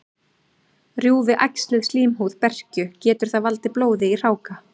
Rjúfi æxlið slímhúð berkju, getur það valdið blóði í hráka.